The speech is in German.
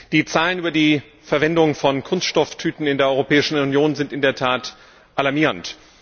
Die Zahlen über die Verwendung von Kunststofftüten in der Europäischen Union sind in der Tat alarmierend.